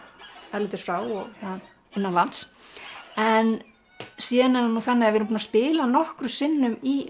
erlendis frá og innanlands en síðan er það þannig að við erum búin að spila nokkrum sinnum í